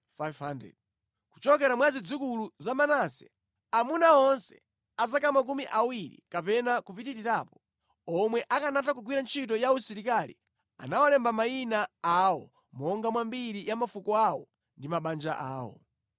Kuchokera mwa zidzukulu za Manase: Amuna onse a zaka makumi awiri kapena kupitirirapo, omwe akanatha kugwira ntchito ya usilikali anawalemba mayina awo monga mwa mbiri ya mafuko awo ndi mabanja awo.